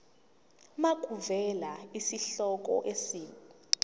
makuvele isihloko isib